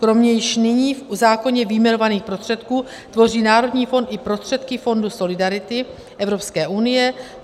Kromě již nyní v zákoně vyjmenovaných prostředků tvoří Národní fond i prostředky Fondu solidarity Evropské unie.